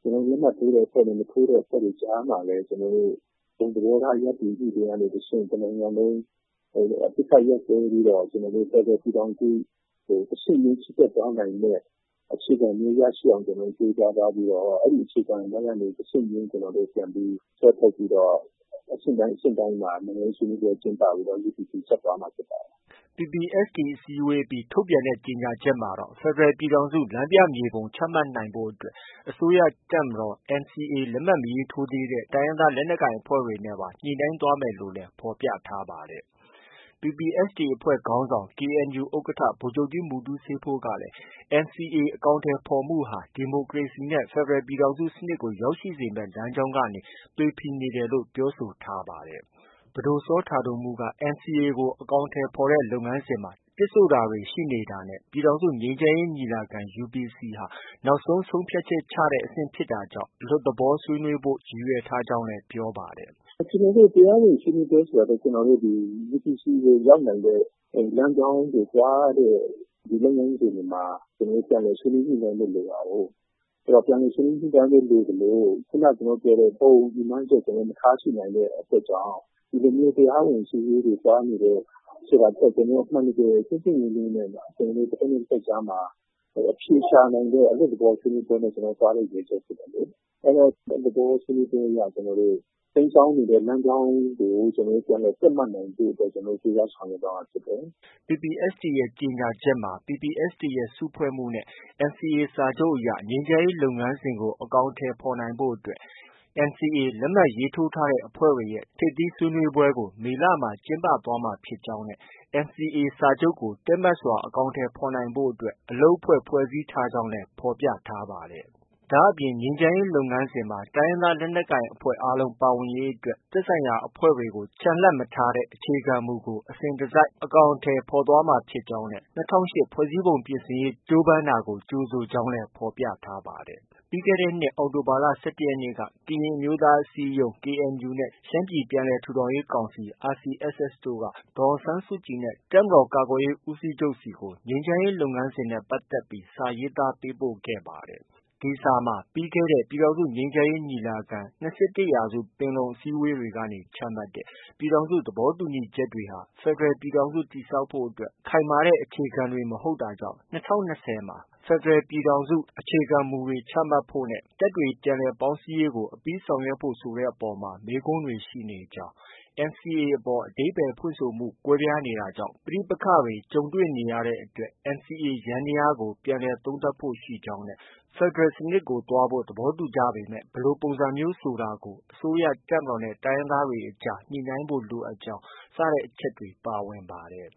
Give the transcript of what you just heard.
ကျနော်တို့ လက်မှတ်ထိုးတဲ့ အဖွဲ့တွေနဲ့ မထိုးတဲ့ အဖွဲ့တွေကြားမှာလည်း ကျနော်တို့ ဘုံသဘောထားရပ်တည်မှုတွေက တဆင့် တစ်နိုင်ငံလုံး အပစ်အခတ်ရပ်စဲပြီးတော့ ဖက်ဒရယ် ပြည်ထောင်စု တဆင့်ချင်း ချီတက်သွားနိုင်မယ့် အခြေခံမျိုးရရှိအောင် ကျနော်တို့ ကြိုးစားသွားပြီးတော့ အဲဒီအခြေခံတိုင်းကနေ တစ်ဆင့်ချင်းပြန်ပြီး ဆွဲထုတ်ပြီးတော့ အဆင့်တိုင်း အဆင့်တိုင်းမှာ ဆွေးနွေးပွဲ ကျင်းပပြီး UPC ကို ဆက်သွားမှာ ဖြစ်ပါတယ်။” PPST အစည်းအဝေးအပြီး ထုတ်ပြန်တဲ့ ကြေညာချက်မှာတော့ ဖက်ဒရယ် ပြည်ထောင်စု လမ်းပြမြေပုံ ချမှတ်နိုင်ဖို့ အတွက် အစိုးရ၊ တပ်မတော်၊ NCA လက်မှတ်မထိုးသေးတဲ့ တိုင်းရင်းသား လက်နက်ကိုင် အဖွဲ့တွေနဲ့ ညှိနှိုင်းသွားမယ်လို့လည်း ဖော်ပြထားပါတယ်။ PPST အဖွဲ့ခေါင်းဆောင် KNU ဥက္ကဌ ဗိုလ်ချုပ်ကြီး မူတူးဆေးဖိုးကလည်း NCA အကောင်အထည်ဖော်ဆောင်မှုဟာ ဒီမိုကရေစီနဲ့ ဖက်ဒရယ် ပြည်ထောင်စုစနစ်ကို ရောက်ရှိစေမယ့် လမ်းကြောင်းကနေ သွေဖည်နေတယ်လို့ ပြောဆိုထားပါတယ်။ ပဒိုစောတာဒိုမှုးက NCA ကို အကောင်အထည်ဖော်တဲ့ လုပ်ငန်းစဉ်မှာ တစ်ဆို့တာတွေ ရှိနေတာနဲ့ ပြည်ထောင်စု ငြိမ်းချမ်းရေး ညီလာခံ UPC ဟာ နောက်ဆုံး ဆုံးဖြတ်ချက်ချတဲ့ အဆင့်ဖြစ်တာကြောင့် အလွတ်သဘော ဆွေးနွေးဖို့ ရည်ရွယ်ကြောင်းလည်း ပြောပါတယ်။ “ကျနော်တို တရားဝင် ဆွေးနွေးပွဲဆိုတာထက် UPC ကို ရောက်နိုင်တဲ့ လမ်းကြောင်းကို သွားတဲ့ လုပ်ငန်းစဉ်တွေပါ ကျနော်တို့ ပြန်လည် ဆွေးနွေးညှိနှိုင်းဖို့ လိုတာကိုး။ ပြန်လည်ဆွေးနွေး ညှိနှိုင်းဖို့ လိုသလို ခုနက ကျနော်တို့ ပြောတဲ့ဘုံရည်မှန်းချက် မထားရှိနိုင်တဲ့အတွက်ကြောင့် ဒီလိုမျိုး တရားဝင်ဆွေးနွေးပွဲတွေ သွားနေတယ်ဆိုတာထက် ကျနော် တို့ အမှန်တကယ် ပွင့်ပွင့်လင်းလင်းနဲ့ တဖက်နဲ့ တဖက် ကြားမှာ အဖြေရှာနိုင်တဲ့ အလွတ်သဘော ဆွေးနွေးပွဲနဲ့ ကျနော်တို့ သွားလိမ့်မယ် ကျနော်ထင်တယ်လေ။ အဲတော့ အလွတ်သဘောဆွေးနွေးပွဲအရ ကျနော်တို့ တိမ်းစောင်းနေတဲ့ လမ်းကြောင်းကို ကျနော်တို့ ပြန်လည် တည့်မတ်နိုင်ဖို့ ကြိုးစား ဆောင်ရွက်သွားမှာဖြစ်တယ်။” PPST ရဲ့ ကြေညာချက်မှာ PPST စုဖွဲ့မှုနဲ့ NCA စာချုပ် အရ ငြိမ်းချမ်းရေး လုပ်ငန်းစဉ်ကို အကောင်အထည်ဖော်နိုင်ဖို့ အတွက် NCA လက်မှတ်ရေးထိုးထားတဲ့ အဖွဲ့တွေရဲ့ ထိပ်သီးဆွေးနွေးပွဲကို မေလမှာ ကျင်းပသွားမှာဖြစ်ကြောင်းနဲ့ NCAစာချုပ်ကို တည့်မတ်စွာ အကောင်အထည်ဖော်နိုင်ဖို့ အလုပ်အဖွဲ့ ဖွဲ့စည်းကြောင်းလည်း ဖော်ပြထားပါတယ်။ ဒါအပြင် ငြိမ်းချမ်းရေးလုပ်ငန်းစဉ်မှာ တိုင်းရင်းသား လက်နက်ကိုင်အားလုံး ပါဝင်ရေးအတွက် သက်ဆိုင်ရာအဖွဲ့တွေကို ချန်လှပ်မထားတဲ့ အခြေခံမူကို အစဉ်တစိုက် အကောင်အထည် ဖော်သွားမှာ ဖြစ်ကြောင်း၊ လွှတ်တော်က၂၀၀၈ ဖွဲ့စည်းပုံပြင်ဆင်ရေး ကြိုးပမ်းတာကို ကြိုဆိုကြောင်းလည်း ဖော်ပြထားပါတယ်။ ပြီးခဲ့တဲ့နှစ် အောက်တိုဘာလ ၁၁ရက်နေ့က ကရင်အမျိုးသား အစည်းအရုံး KNU နဲ့ ရှမ်းပြည် ပြန်လည်ထူထောင်ရေး ကောင်စီ RCSS တို့က ဒေါ်အောင်ဆန်းစုကြည်နဲ့ တပ်မတော်ကာကွယ်ရေး ဦးစီးချုပ်ဆီကို ငြိမ်းချမ်းရေး လုပ်ငန်းစဉ်နဲ့ ပတ်သက်ပြီး စာရေးသားပေးပို့ထားပါတယ်။ ဒီစာမှာ ပြီးခဲ့တဲ့ ပြည်ထောင်စု ငြိမ်းချမ်းရေးညီလာခံ ၂၁ရာစုပင်လုံကနေ ချမှတ်တဲ့ ပြည်ထောင်စု သဘောတူညီချက်တွေဟာ ဖက်ဒရယ် ပြည်ထောင်စု တည်ဆောက်ဖို့ ခိုင်မာတဲ့ အခြေခံတွေ မဟုတ်တာကြောင့် ၂၀၂၀ မှာ ဖက်ဒရယ် ပြည်ထောင်စု အခြေခံတွေချမှတ်ဖို့ နဲ့ တပ်တွေ ပြန်လည် ပေါင်းစည်းရေးကို အပြီးဆောင်ရွက်ဖို့ ဆိုတဲ့အပေါ်မှာ မေးခွန်းတွေရှိနေကြောင်း၊ NCA အပေါ် အဓိပ္ပါယ် ဖွင့်ဆိုမှု ကွဲပြားနေတာကြောင့် ပဋိပက္ခတွေ ကြုံနေရတဲ့အတွက် NCA ယန္တရားတွေကို ပြန်လည် သုံးသပ်ဖို့ ရှိနေကြောင်းနဲ့ ဖက်ဒရယ်စနစ်ကို သွားဖို့ သဘောတူညီပေမဲ့ ဘယ်လို ပုံစံမျိုးဆိုတာကို အစိုးရ၊ တပ်မတော်နဲ့ တိုင်းရင်းသားတွေအကြား ညှိနှိုင်းဖို့ လိုအပ်ကြောင်းဆိုတဲ့ အချက်တွေ ပါဝင်ပါတယ်။